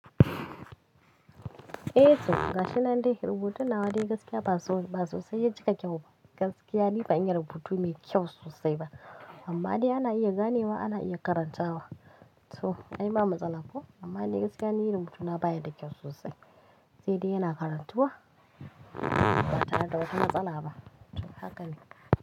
Eh to, ga shi nan dai rubutun nawa dai gaskiya ba so, ba sosai ya cika kyau ba. Gaskiya ni ban iya rubutu mai kyau sosai ba, amma dai ana iya ganewa, ana iya karantawa. To, ai ba matsala ko, amma dai gaskiya ni rubutuna baya da kyau sosai. Sai dai yana karantuwa, ba tare da wata matsala ba. To, haka ne.